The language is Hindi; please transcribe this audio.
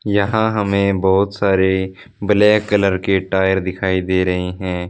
यहां हमें बहुत सारे ब्लैक कलर के टायर दिखाई दे रहे हैं।